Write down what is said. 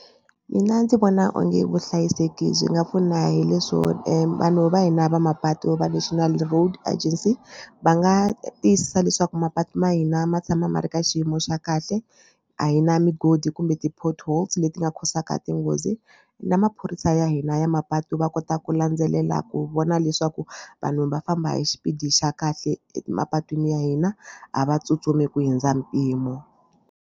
Mina ndzi vona onge vuhlayiseki byi nga pfuna hi leswo vanhu va hina va mapatu va National Road Agency va nga tiyisisa leswaku mapatu ma hina ma tshama ma ri ka xiyimo xa kahle a hi na migodi kumbe ti-portholes leti nga cause-aka tinghozi na maphorisa ya hina ya mapatu va kota ku landzelela ku vona leswaku vanhu va famba hi xipidi xa kahle emapatwini ya hina a va tsutsumi ku hundza mpimo.